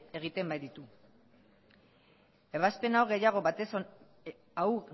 egiten baititu